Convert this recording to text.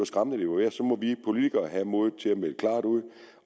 politikere have modet til at melde klart ud